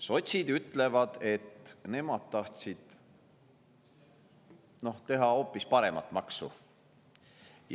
Sotsid ütlevad, et nemad tahtsid teha hoopis paremat maksu.